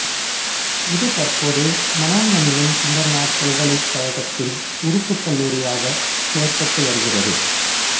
இது தற்போது மனோன்மணியம் சுந்தரனார் பல்கலைக்கழகத்தின் உறுப்புக் கல்லூரியாக செயற்பட்டு வருகிறது